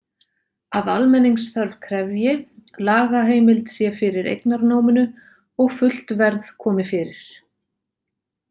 Að almenningsþörf krefji, lagaheimild sé fyrir eignarnáminu og fullt verð komi fyrir.